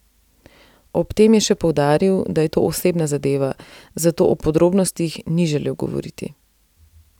Ob tem je še poudaril, da je to osebna zadeva, zato o podrobnostih ni želel govoriti.